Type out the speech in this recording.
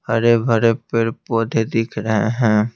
हरे भरे पेड़ पौधे दिख रहे हैं।